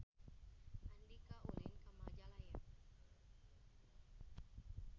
Andika ulin ka Majalaya